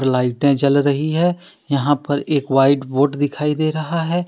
लाइटे जल रही है यहां पर एक व्हाइट बोर्ड दिखाई दे रहा है।